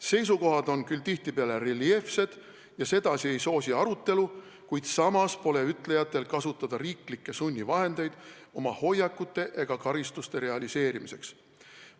Seisukohad on küll tihtipeale reljeefsed ja sedasi ei soosi arutelu, kuid samas pole ütlejatel kasutada riiklikke sunnivahendeid oma hoiakute ega karistuste realiseerimiseks.